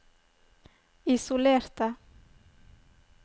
isolerte